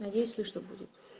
надеюсь слышно будет